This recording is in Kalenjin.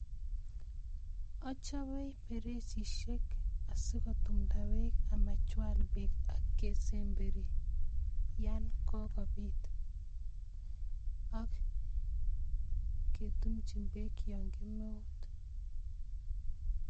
Achobe bereisishek asikotumnda beek amachwal beek kesemberi yaan kakobit ak ketumchin beek yoon kemeut.